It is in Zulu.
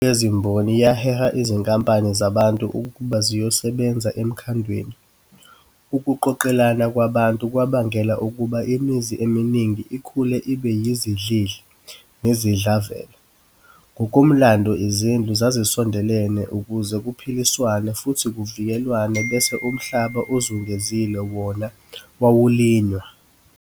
Inguqulo yezimboni yaheha izinkumbi zabantu ukuba ziyosebenza emkhandweni, ukuqoqelana kwabantu kwabangela ukuba imizi eminingi ikhule I've yizidlidli nezidlavela. Ngokomlando izindlu zazisondelene ukuze kuphiliswane futhi kuvikelwane bese umhlaba ozungezile wona wawulinywa.